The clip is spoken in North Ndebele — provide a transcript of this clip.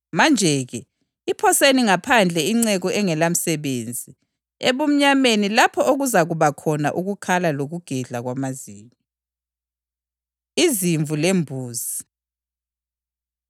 Ngoba lowo olakho uzaphiwa okunye njalo abesesiba lokunengi. Lowo ongelakho, lalokho alakho uzakwemukwa.